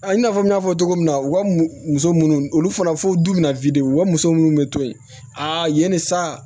A i n'a fɔ n y'a fɔ cogo min na u ka muso munnu olu fɔra fo du min na u ka muso munnu bɛ to yen a yen ni sa